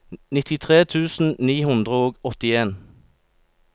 nittitre tusen ni hundre og åttien